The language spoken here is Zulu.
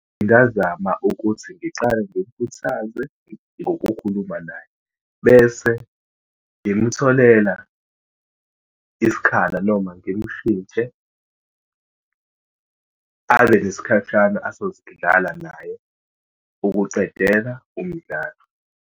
Ngingazama ukuthi ngiqale ngimkhuthaze ngokukhuluma naye, bese ngimtholela isikhala noma ngimshintshe abe nesikhashana azosidlala naye ukuqedela umdlalo.